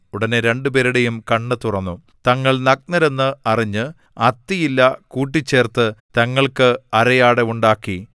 ഉടനെ രണ്ടുപേരുടെയും കണ്ണ് തുറന്നു തങ്ങൾ നഗ്നരെന്ന് അറിഞ്ഞ് അത്തിയില കൂട്ടിച്ചേര്‍ത്ത് തങ്ങൾക്ക് അരയാട ഉണ്ടാക്കി